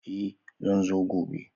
Eh zan zo gobe.